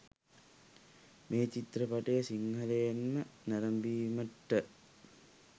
මේ චිත්‍රපටය සිංහලෙන්ම නැරඹීමට